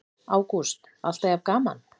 Ágúst: Alltaf jafn gaman?